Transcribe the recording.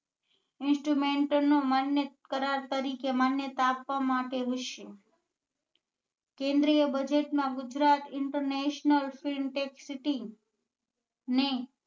Instrument નુ માન્ય કરાર તરીકે માન્યતા આપવા માટે કેન્દ્રીય budget માં Gujarat international film tack city ને